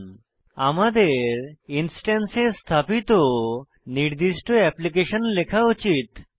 সুতরাং আমাদের ইনস্ট্যান্সে স্থাপিত নির্দিষ্ট অ্যাপ্লিকেশন লেখা উচিত